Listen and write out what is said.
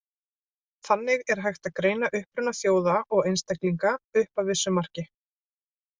Þannig er hægt að greina uppruna þjóða og einstaklinga, upp að vissu marki.